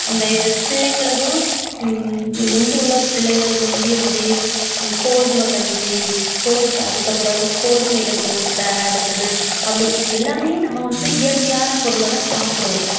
இந்த இது, பிள்ளைகளுக்கும் ஹம் முந்தியுள்ள பிள்ளைங்களுக்கு வந்து எப்படி அஹ் கோதுமை கஞ்சி கோது~ அதுக்கப்புறம் கோதுமையில தோசை அடுத்தது அப்படி எல்லாமே நம்ம வந்து இயற்கையான பொருளைதான் சாப்பிடுவோம்.